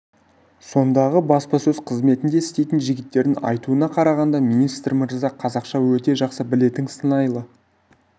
сондағы баспасөз қызметінде істейтін жігіттердің айтуына қарағанда министр мырза қазақша өте жақсы білетін сыңайлы